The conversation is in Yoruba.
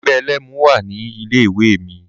Ẹgbẹ́ ẹlẹ́mu wà ní ilé ìwé mi.